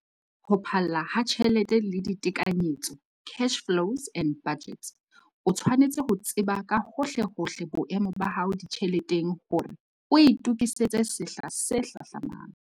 Ho phalla ha tjelete le ditekanyetso, Cash-flows and budgets, - o tshwanetse ho tseba ka hohlehohle boemo ba hao ditjheleteng hore o itokisetse sehla se hlahlamang.